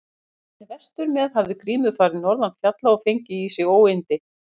Á leiðinni vestur með hafði Grímur farið norðan fjalla og fengið í sig óyndi.